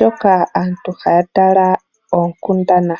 hoka aantu haya taala oonkundana.